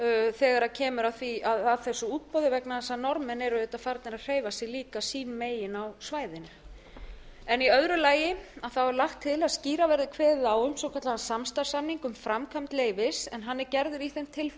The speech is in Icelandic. þegar kemur að þessu útboði vegna þess að norðmenn eru auðvitað farnir að hreyfa sig líka sín megin á svæðinu í öðru lagi er lagt til að skýrar verði kveðið á um svokallaðan samstarfssamning um framkvæmd leyfis en hann er gerður í þeim